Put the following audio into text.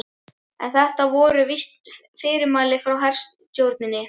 En þetta voru víst fyrirmæli frá herstjórninni.